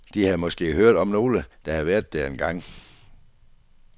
De havde måske hørt om nogle, der havde været der engang.